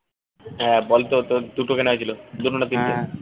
হ্যাঁ বল তো তোর দুটো কেনা হয়েছিল দুটো না তিনটে